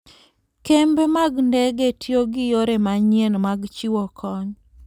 Kembe mag ndege tiyo gi yore manyien mag chiwo kony.